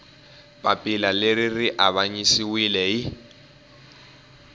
papila leri ri avanyisiwile hi